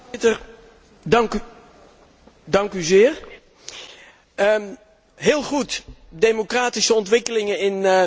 Heel goed, democratische ontwikkelingen in Noord Afrika, maar het brengt wel verplichtingen met zich mee voor Europa.